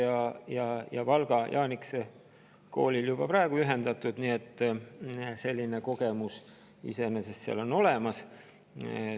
Urvaste ja Valga Jaanikese kooli juhtimine on juba praegu ühendatud, nii et selline kogemus iseenesest on seal olemas.